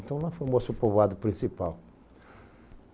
Então lá formou-se o povoado principal.